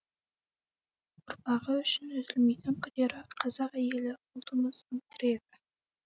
ұрпағы үшін үзілмейтін күдері қазақ әйелі ұлтымыздың тірегі